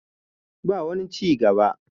ba wani ci gaba